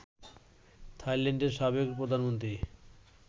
থাইল্যান্ডের সাবেক প্রধানমন্ত্রী